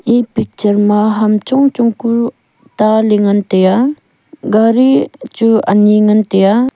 e picture ma ham chong chong ku taley ngan taiya gari chu ani ngan taiy.